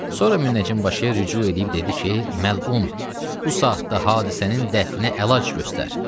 Sonra münəccim başıya rücu eləyib dedi ki, məlun, bu saatda hadisənin dəfninə əlac göstər.